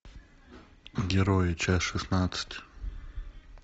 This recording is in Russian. герои часть шестнадцать